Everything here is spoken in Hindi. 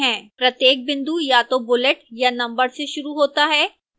प्रत्येक बिंदु या तो bullet या number से शुरू होता है